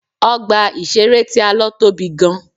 Ọgbà ìṣeré tí a lọ tóbi gan.